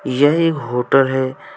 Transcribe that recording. यह एक होटल है।